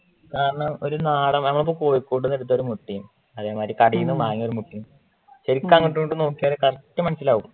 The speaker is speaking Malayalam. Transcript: ആ ഒരു നാടൻ കോഴിക്കൂട്ടിൽ നിന്നെടുത്ത മുട്ടയും അതെ മാറി കടേന്ന് വാങ്ങിയ ഒരു മുട്ടയും ശരിക്ക് അങ്ങോട്ടും ഇങ്ങോട്ടും നോക്കിയാല് correct മനസിലാവും